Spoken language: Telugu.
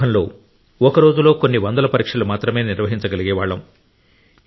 ప్రారంభంలో ఒక రోజులో కొన్ని వందల పరీక్షలు మాత్రమే నిర్వహించగలిగేవాళ్ళం